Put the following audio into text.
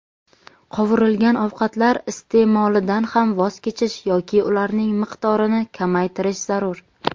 qovurilgan ovqatlar iste’molidan ham voz kechish yoki ularning miqdorini kamaytirish zarur.